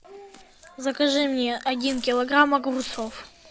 закажи мне один килограмм огурцов